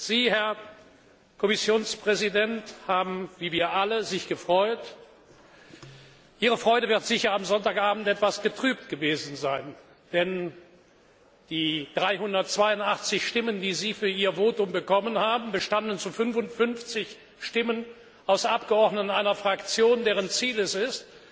Sie, Herr Kommissionspräsident, haben sich wie wir alle gefreut. Ihre Freude wird sicher am Sonntagabend etwas getrübt gewesen sein, denn die 382 Stimmen, die Sie für Ihr Votum bekommen haben, bestanden zu 55 Stimmen aus Abgeordneten einer Fraktion, deren Ziel es ist,